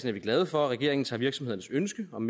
er vi glade for at regeringen tager virksomhedernes ønske om